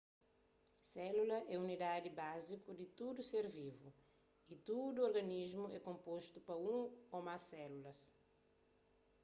sélula é unidadi báziku di tudu ser vivu y tudu organismu é konpostu pa un ô más sélulas